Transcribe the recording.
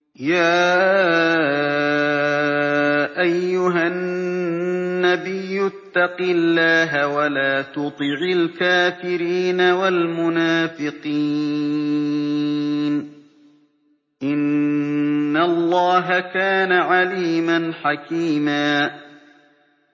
يَا أَيُّهَا النَّبِيُّ اتَّقِ اللَّهَ وَلَا تُطِعِ الْكَافِرِينَ وَالْمُنَافِقِينَ ۗ إِنَّ اللَّهَ كَانَ عَلِيمًا حَكِيمًا